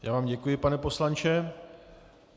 Já vám děkuji, pane poslanče.